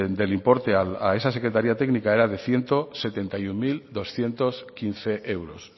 del importe a esa secretaría técnica era de ciento setenta y uno mil doscientos quince euros